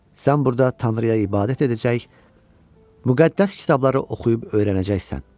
Sən burda Tanrıya ibadət edəcək, müqəddəs kitabları oxuyub öyrənəcəksən.